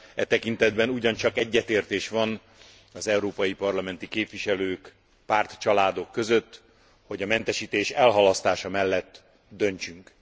E tekintetben ugyancsak egyetértés van az európai parlamenti képviselők, pártcsaládok között, hogy a mentesítés elhalasztása mellett döntsünk.